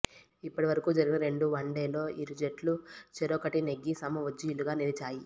ఇప్పటివరకు జరిగిన రెండు వన్డేల్లో ఇరు జట్లు చెరొకటి నెగ్గి సమ ఉజ్జీలుగా నిలిచాయి